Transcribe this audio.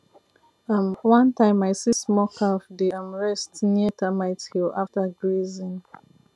um one time i see small calf dey um rest near termite hill after grazing